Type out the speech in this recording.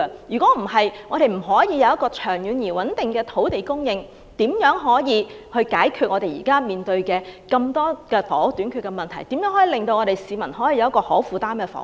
如果不能有長遠而穩定的土地供應，又如何解決現時房屋短缺的嚴重問題？如何為市民提供可負擔的房屋？